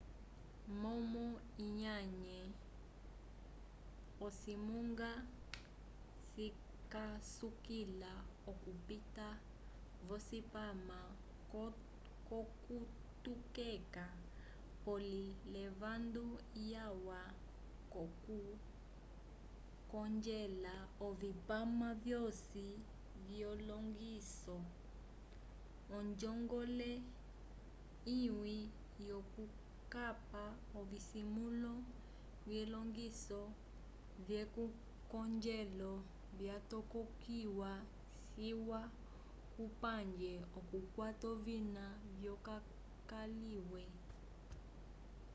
momo lyanye ocimunga cikasukila okupita v'ocipama c'okutokeka pole l'evando lyalwa k'okukongela ovipama vyosi vyelongiso onjongole imwe yokukapa ovisimĩlo vyelongiso vyekongelo vyatokekiwa ciwa kupange okukwata ovina vyokaliye